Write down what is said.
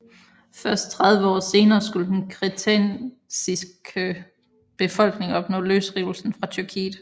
Først 30 år senere skulle den kretensiske befolkning opnå løsrivelsen fra Tyrkiet